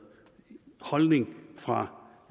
holdning fra